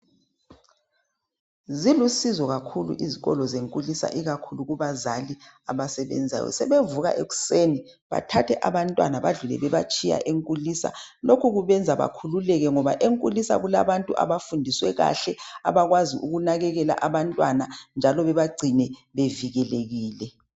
Zilusizo kakhulu izikolo zenkulisa ikakhulu kubazali abasebenzayo. Sebevuka ekuseni bathathe abantwana badlule bebatshiya enkulisa. Lokhu kubenza bakhululeke ngoba enkulisa kubalantu abafundiswe kahle abakwazi ukunakekela abantwana njalo bebagcine bevikelekile.